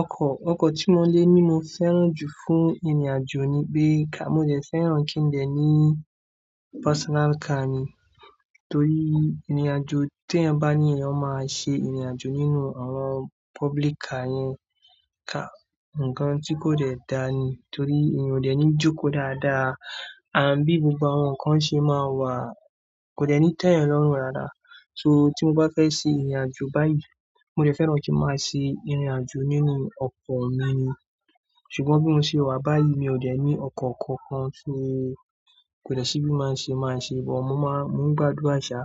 Ọkọ̀, ọkọ̀ tí mo lè ní mo fẹ́ràn jù fún ìrìnàjò ni pé ká mọ dẹ̀ fẹ́ràn kí ń dẹ̀ ní personal car mi. Torí ìrìnàjò tí ẹyan bá ní ẹ̀yan máa ṣe ìrìnàjò nínú àwọn public car yẹn ká. Ǹkan tí kò dẹ̀ dáa ni, torí mi ò dẹ̀ ní jókòó dáadáa. Ànd bí gbogbo àwọn nǹkan ṣe máa wà, kò dẹ̀ ní tẹ́ ẹyan lọ́rùn dáadáa. So tímo báfẹ́ ṣe ìrìn àjò báyì, mode fẹ́ran kin máa ṣe ìrìn àjò nínú ọkọ̀ mi ṣùgbọ́n bí mo ṣe wà báyìí, mi ò dẹ̀ ní ọkọ̀ kankan tí kò dẹ̀ sí bí máa ṣe máa ṣe. Ṣùgbọ́n mo máa, mo ń gbádùa ṣà.